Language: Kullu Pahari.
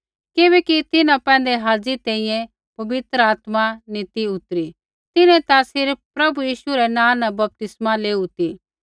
किबैकि तिन्हां पैंधै हाज़ी तैंईंयैं पवित्र आत्मा नी ती उतरी तिन्हैं ता सिर्फ़ प्रभु यीशु रै नाँ न बपतिस्मा लेऊ ती